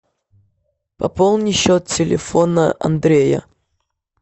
пополни счет телефона андрея